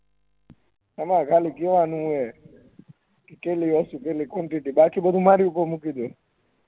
તમાર ખાલી કેહ્વાનું છે કેટલી quantity બાકી બધુ મારી ઉપર મૂકી દો